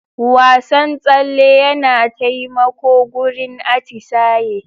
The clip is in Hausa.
Wasan tsale yana taimako gurin atisaye.